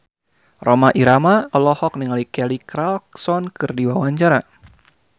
Rhoma Irama olohok ningali Kelly Clarkson keur diwawancara